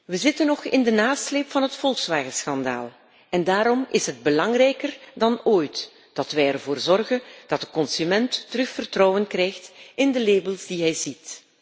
We zitten nog in de nasleep van het Volkswagenschandaal en daarom is het belangrijker dan ooit dat wij ervoor zorgen dat de consument weer vertrouwen krijgt in de labels die hij ziet.